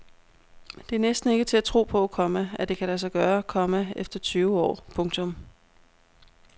Det er næsten ikke til at tro på, komma at det kan lade sig gøre, komma efter tyve år. punktum